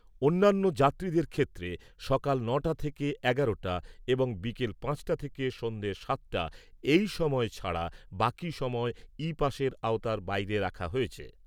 অন্যান্য যাত্রীদের ক্ষেত্রে সকাল ন'টা থেকে এগারোটা এবং বিকাল পাঁচটা থেকে সন্ধে সাতটা এই সময় ছাড়া বাকি সময় ই পাসের আওতার বাইরে রাখা হয়েছে।